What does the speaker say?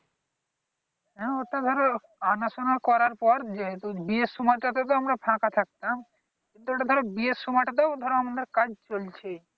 হ্যাঁ ওটা ধর আটাশুনা করার পর যেহেতু বিয়ের সময়টা তে তো আমরা ফাকা ফাকা থাকতাম। তো এইটাতে ধরো বিয়ের সময়টা তেও আমাদের ধর কাজ চলছেই।